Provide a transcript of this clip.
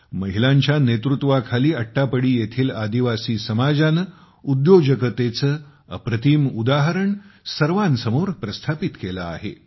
महिलांच्या नेतृत्वाखाली अट्टापडी येथील आदिवासी समाजाने उद्योजकतेचे अप्रतिम उदाहरण सर्वांसमोर प्रस्थापित केले आहे